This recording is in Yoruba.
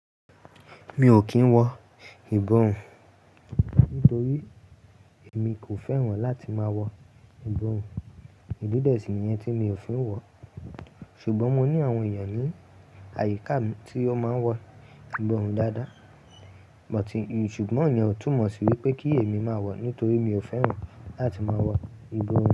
Mi ò kì ń wọ iborùn, nítorí èmi kò fẹ́ràn láti máa wọ iborùn. Ìdí dẹ̀ sì nìyẹn tí mi ò fi ń wọ, ṣùgbọ́n mo ní àwọn èèyàn ní àyíká mi tí ó máa ń wọ iborùn dáadáa. Ṣùgbọ́n ìyẹn ò túmọ̀ sí wípé kí èmi máa wọ, nítorí mi ò fẹ́ràn láti máa wọ iborùn.